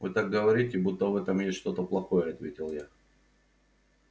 вы так говорите будто в этом есть что-то плохое ответил я